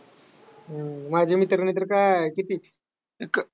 हम्म माझ्या मित्राने तर काय किती एक